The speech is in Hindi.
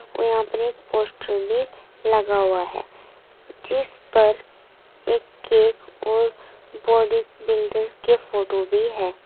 और यहां पे एक पोस्टर भी लगा हुआ है जिस पर एक केक और बॉडीबिल्डर के फोटो भी है।